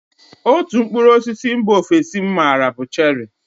Otú mkpụrụ osisi mba ofesi m maara bụ cherị.